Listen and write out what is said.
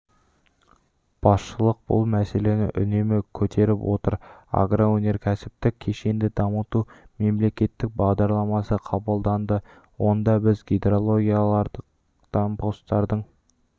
басшылық бұл мәселені үнемі көтеріп отыр агроөнеркәсіптік кешенді дамыту мемлекеттік бағдарламасы қабылданды онда біз гидрологиялық постардың